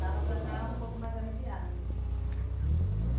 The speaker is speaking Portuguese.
mais confortável. Já dava para estar um pouco mais aliviada. É.